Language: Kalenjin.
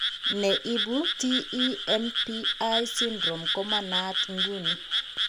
Ne ibu TEMPI syndrome ko manaat ng'uni.